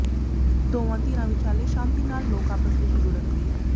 ਦੋਵਾਂ ਧਿਰਾਂ ਵਿਚਾਲੇ ਸ਼ਾਂਤੀ ਨਾਲ ਲੋਕ ਆਪਸ ਵਿੱਚ ਜੁਡ਼ਨਗੇ